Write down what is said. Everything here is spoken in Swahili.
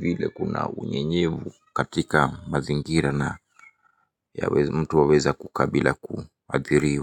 ile kuna unyenyevu katika mazingira na mtu waweza kukaa bila kuathiriwa.